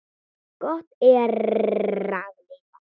Gott er að lifa.